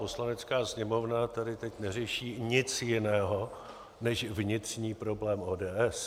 Poslanecká sněmovna tady teď neřeší nic jiného než vnitřní problém ODS.